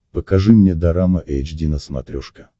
покажи мне дорама эйч ди на смотрешке